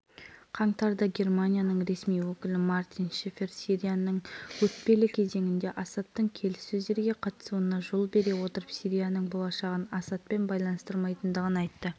астанада өткізу туралы талқылады екі елдің басшылары сириядағы мәселені тәпіштей сөз ете отырып бірінші кезекте